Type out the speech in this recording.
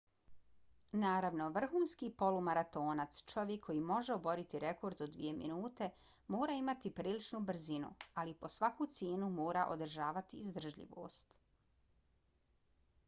naravno vrhunski polumaratonac čovjek koji može oboriti rekord od dvije minute mora imati priličnu brzinu ali po svaku cijenu mora održavati izdržljivost